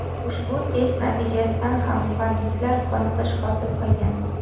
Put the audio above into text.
Ushbu test natijasidan ham muhandislar qoniqish hosil qilgan.